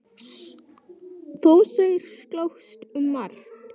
Þó þeir slást um margt.